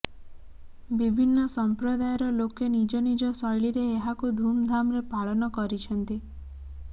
ବିଭିନ୍ନ ସଂପ୍ରଦାୟର ଲୋକେ ନିଜ ନିଜ ଶୈଳୀରେ ଏହାକୁ ଧୁମଧାମରେ ପାଳନ କରିଛନ୍ତି